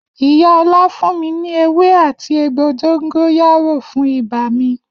Iya Ola fun mi ni ewé áti egbo dongoyaro fun iba mi.